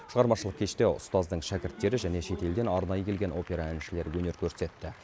шығармашылық кеште ұстаздың шәкірттері және шетелден арнайы келген опера әншілері өнер көрсетті